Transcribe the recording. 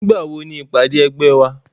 Nígbà wo ni ìpàdé ẹgbẹ́ wa